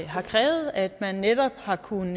har krævet at man netop har kunnet